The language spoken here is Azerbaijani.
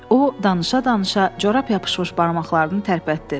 O danışa-danışa corab yapışmış barmaqlarını tərpətdi.